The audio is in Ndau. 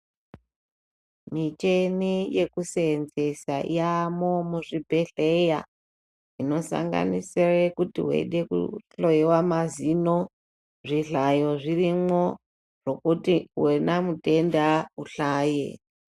Michini yekuseenzesa yaamwo muzvibhedhleya inosanganisire kuti weida kuhloiwa mazino zvihlayo zvirimwo zvekuti wena mutenda uhlaye.